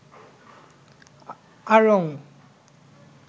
আড়ং